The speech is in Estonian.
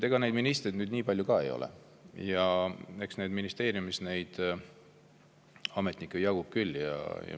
Ega neid ministreid nüüd nii palju ka ei ole ja ministeeriumis ametnikke jagub küll.